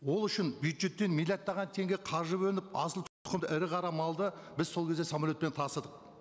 ол үшін бюджеттен миллиардтаған теңге қаржы бөлініп ірі қара малды біз сол кезде самолетпен тасыдық